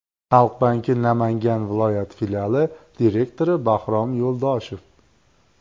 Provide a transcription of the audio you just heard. Xalq banki Namangan viloyat filiali direktori Bahrom Yo‘ldoshev.